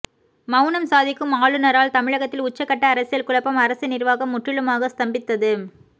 மவுனம் சாதிக்கும் ஆளுநரால் தமிழகத்தில் உச்சகட்ட அரசியல் குழப்பம் அரசு நிர்வாகம் முற்றிலுமாக ஸ்தம்பித்தது